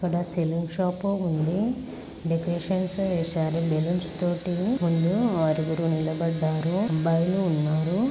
ఇక్కడ saloon shop అని ఉంది. డెకోరేషన్స్ వేశారు బెలూన్స్ తోటి. ముందు ఆరుగురు నిలబడ్డారు అబ్బాయిలు ఉన్నారు.